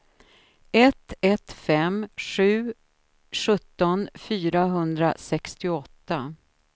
ett ett fem sju sjutton fyrahundrasextioåtta